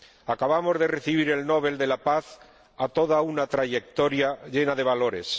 Acabamos de recibir el Nobel de la Paz a toda una trayectoria llena de valores